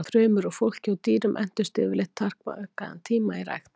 Frumur úr fólki og dýrum entust yfirleitt takmarkaðan tíma í rækt.